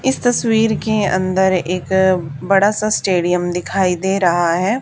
इस तस्वीर के अंदर एक बड़ा सा स्टेडियम दिखाई दे रहा है।